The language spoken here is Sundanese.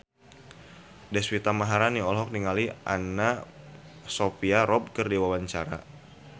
Deswita Maharani olohok ningali Anna Sophia Robb keur diwawancara